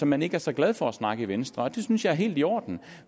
man ikke er så glad for at snakke om i venstre og det synes jeg er helt i orden